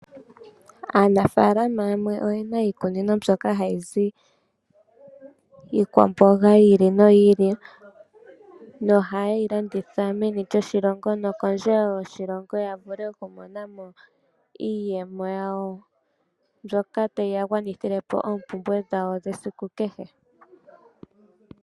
Aanafaalama yamwe oye na iikunino ha yi zi iikwamboga yi ili noyi ili, noha ye yi landitha meni lyoshilongo no kondje wo yoshilongo, ya vule oku mona mo iiyemo yawo, mbyoka tayi ya gwanithile po oompumbwe dhawo dhesiku kehe.